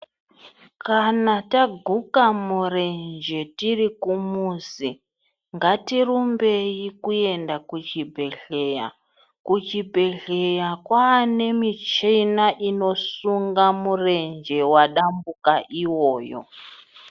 Kana taguka murenje tiri kumuzi ngatirumbei kuenda kuchibhehleya. Kuchibhehleya kwane michina inosunga murenje wadambuka iwoyo.